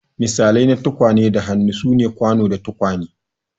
Misalai na tukwane da hannu sune kwano da tukwane.